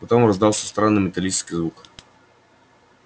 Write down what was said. потом раздался странный металлический звук